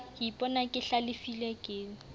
ke ipona ke hlalefile ke